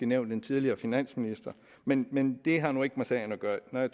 nævnt den tidligere finansminister men men det har jo ikke noget med sagen at gøre når jeg